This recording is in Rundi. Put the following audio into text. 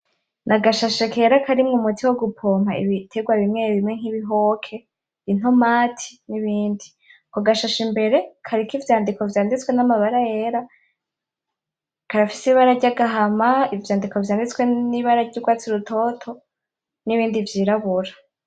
Nagashashe kera karimwo umuti wo gupoma ibiterwa bimwe bimwe nk'ibihoke, intomati, nibindi. Ako gashashe imbere kariko ivyandiko vyanditswe n'amabara yera, karafise ibara ry'agahama, ivyandiko vyanditswe n'ibara ry'urwatsi rutoto, nibindi vyirabura.